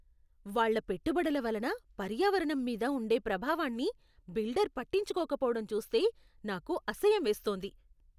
వాళ్ళ పెట్టుబడుల వలన పర్యావరణం మీద ఉండే ప్రభావాన్ని బిల్డర్ పట్టించుకోకపోవడం చూస్తే నాకు అసహ్యమేస్తోంది.